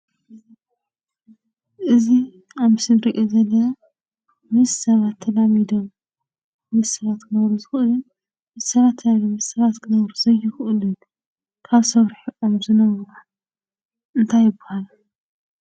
እዚ ኣብ ምስሊ እንሪኦ ዘለና፦ ምስ ሰባት ተላሚዶም ምስ ሰባት ክነብሩ ዝክእሉን ምስ ሰባት ክነብሩ ዘይኽእሉን ካብ ሰብ ሪሕቖም ዝነብሩ እንታይ ይብሃሉ?